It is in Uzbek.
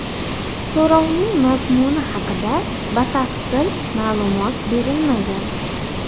So‘rovning mazmuni haqida batafsil ma’lumot berilmagan.